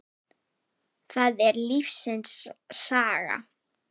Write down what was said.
Það er lífsins saga.